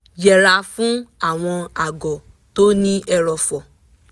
yẹra fún àwọn àgọ́ tó ní ẹrọ̀fọ̀